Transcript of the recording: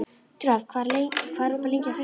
Dröfn, hvað er opið lengi á föstudaginn?